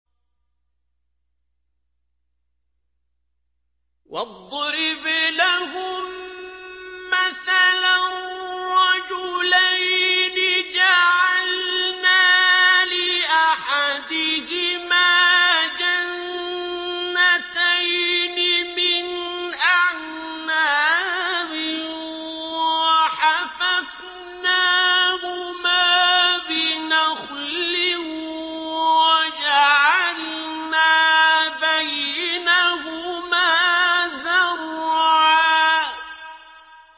۞ وَاضْرِبْ لَهُم مَّثَلًا رَّجُلَيْنِ جَعَلْنَا لِأَحَدِهِمَا جَنَّتَيْنِ مِنْ أَعْنَابٍ وَحَفَفْنَاهُمَا بِنَخْلٍ وَجَعَلْنَا بَيْنَهُمَا زَرْعًا